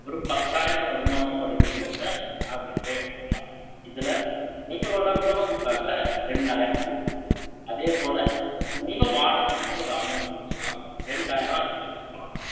ஒரு பத்தாயிரம் வருமானம், வருதுங்கிறதை, அவரே எடுத்துக்கலாம். இதுல, உங்களோட உணவுக்காக, ரெண்டாயிரம் போகுது அதே போல, உங்க வாடகைன்னு ஒரு amount வச்சுக்கலாம். இரண்டாயிரம் அதுக்கு வச்சிக்கலாம்